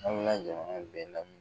A bi ka jamana bɛ lamu